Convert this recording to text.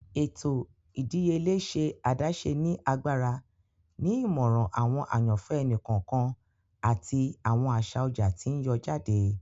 Ètò ìdíyelé ṣe adaṣe ni agbára, ni imọran awọn àyànfẹ ẹni kọọkan ati awọn aṣa ọjà ti n yọ jáde.